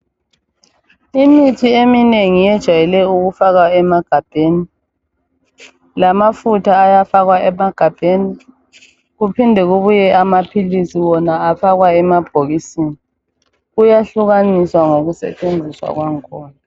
Imithi eminengi yejayele ukufakwa emagabheni lamafutha ayafakwa emagabhenikuphinde kubuye amaphilisi wona ayafakwa emabhokisini. Kuyahlukaniswa ngokusetshenziswa kwangikhona.